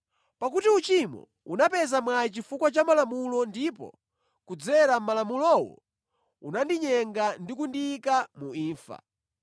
Pakuti uchimo unapeza mwayi chifukwa cha Malamulo ndipo kudzera mʼMalamulowo, unandinyenga ndi kundiyika mu imfa.